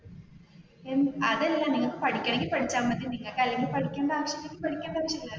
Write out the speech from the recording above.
അതല്ല നിങ്ങൾക്ക് പഠിക്കണമെങ്കിൽ പഠിച്ചാൽ മതി നിങ്ങൾക്ക് അല്ലെങ്കിൽ പഠിക്കണ്ട ആവശ്യമില്ലെങ്കിൽ പഠിക്കേണ്ട.